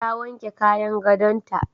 Ta wanke kayan gadonta.